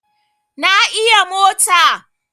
Na iya mota